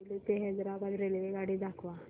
सेलू ते हैदराबाद रेल्वेगाडी दाखवा